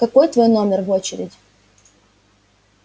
какой твой номер в очереди